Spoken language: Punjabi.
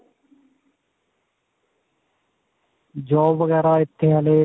job ਵਗੈਰਾ ਇੱਥੇ ਹੱਲੇ.